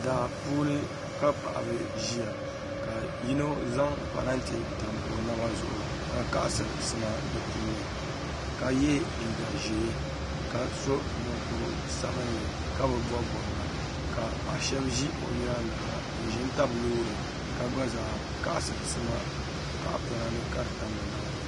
Daa puuni ka paɣaba ʒiya ka yino zaŋ parantɛ tam o naba zuɣu ka kaɣasiri sima di puuni ka yɛ liiga ʒiɛ ka so mokuru sabinli ka bi bob bobga ka paɣa shab ƶi o nyaangi ha n ʒi n tabi loori ka gba zaa kaɣasiri sima tahapona ni ka di tam bi naba zuɣu